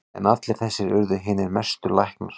En allir þessir urðu hinir mestu læknar.